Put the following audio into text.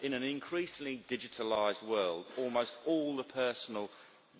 In an increasingly digitalised world, almost all the personal